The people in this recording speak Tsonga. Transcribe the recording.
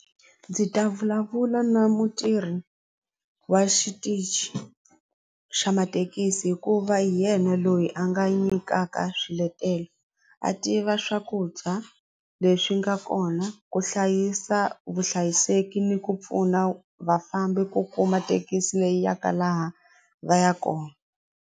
Ndzi ta vulavula na mutirhi wa xitichi xa mathekisi hikuva hi yena loyi a nga nyikaka swiletelo a tiva swakudya leswi nga kona ku hlayisa vuhlayiseki ni ku pfuna vafambi ku kuma thekisi leyi yaka laha va ya kona.